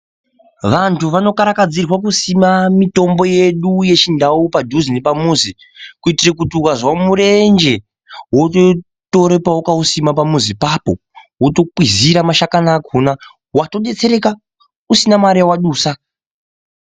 Vanthu vanokarakadzirwa kusima mitombo yedu yechindau padhuze nepamuzi, kuitire kuti wazve murenje wototore pawakausima pamuzi pako wotokwizira mashakani akhona. Watodetsereka ,usina mare yawadusa.